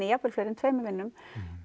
jafnvel fleiri en tveimur vinnum